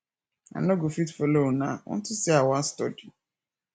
i no go fit follow una unto say i wan study